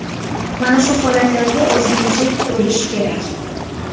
Mana shu holatlarga ozgina chek qo‘yish kerak.